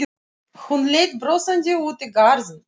Hún leit brosandi út í garðinn.